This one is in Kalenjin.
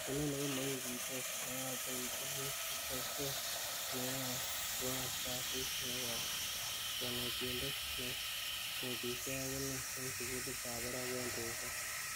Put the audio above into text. Inoni komokikuitos, neyoche itil itebsen neoyoe tuan kasit ne yos, konetindet ne netishe agine en sugulitab barak en resop.